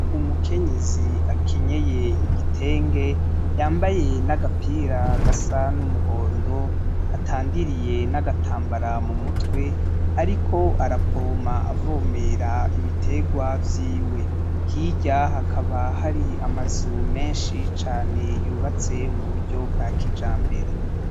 Umukenyezi akenyeye igitenge yambaye n’agapira gasa n’umuhondo atandiriye n’agatambara mu mutwe ariko arapompa avomera ibiterwa vyiwe . Hirya hakaba hari amazu menshi cane yubatse mu buryo bwa kijambere.